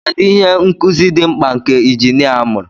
Kedu ihe nkuzi dị mkpa nke injinia gụrụ?